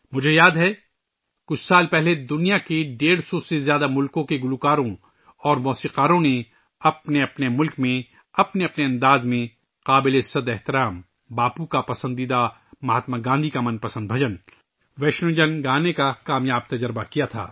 مجھے یاد ہے کہ کچھ سال پہلے دنیا کے ڈیڑھ سو سے زیادہ ملکوں کے گلوکاروں اور موسیقاروں نے اپنے اپنے ملکوں میں اپنے اپنے ملبوسات میں مہاتما گاندھی کا پسندیدہ بھجن، ' ویشنو جن ' گانے کا کامیاب تجربہ کیا تھا